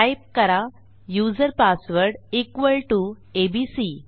type करा user password equal T O ABC